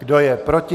Kdo je proti?